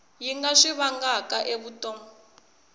yi nga swi vangaka evuton